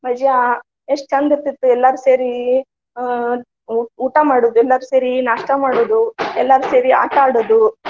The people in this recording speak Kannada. ಮಜಾ ಎಷ್ಟ ಚಂದ ಇರ್ತಿತ್ತ ಎಲ್ಲಾರು ಸೇರಿ ಹ್ಮ್ ಊ~ ಊಟಾ ಮಾಡುದು, ಎಲ್ಲಾರು ಸೇರಿ ನಾಷ್ಟಾ ಮಾಡುದು, ಎಲ್ಲಾರು ಸೇರಿ ಆಟಾ ಆಡುದು.